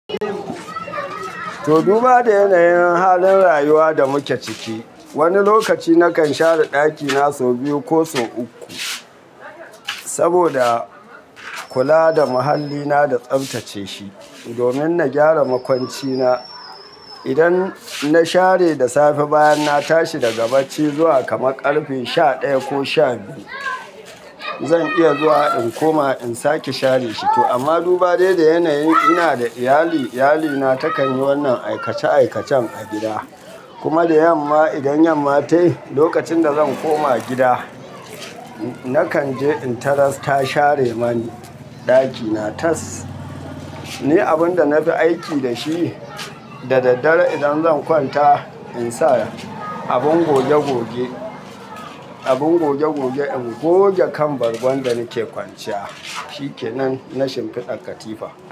To, duba da yanayin halin rayuwa da muke ciki. Wani lokaci nakan share ɗakina sau biyu ko sau uku saboda kula da muhallina da tsaftace shi domin na gyara makwancina. Idan na share da safe bayan na tashi daga bacci zuwa kama ƙarfe sha ɗaya ko sha biyu, zan iya zuwa in koma in sake share shi. Amma dubadai da yanayin ina da iyali, iyalina takan yi wannan aikace-aikacen a gida. Kuma da yamma, idan yamma ta yi lokacin da zan koma gida, nakan je in tarar ta share mani ɗakina. Tas ni abin da na fi aiki da shi. Da daddare idan zan kwanta, insa abin goge goge, abin goge goge in goge kan bargon da nake kwanciya. Shi ke nan, na shimfiɗa katifa.